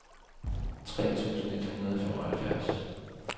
tre tusind et hundrede og femoghalvtreds